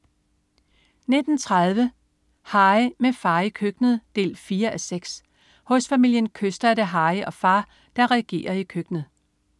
19.30 Harry, med far i køkkenet 4:6. Hos familien Kyster er det Harry og far, der regerer i køkkenet